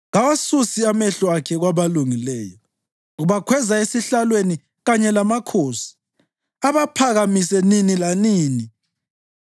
Kawasusi amehlo akhe kwabalungileyo; ubakhweza esihlalweni kanye lamakhosi abaphakamise nini lanini.